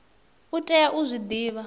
u tea u zwi divha